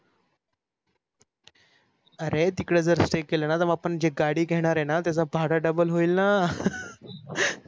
अरे तिकड जर stay केल न तर आपण जे गाडी घेणार आहे ना त्याच भाड double होईल न